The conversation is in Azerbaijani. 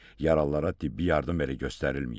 Yaralılara tibbi yardım belə göstərilməyib.